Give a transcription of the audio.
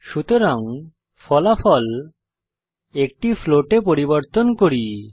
সুতরাং ফলাফল একটি ফ্লোট এ পরিবর্তন করি